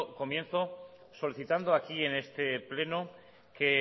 comienzo solicitando aquí en este pleno que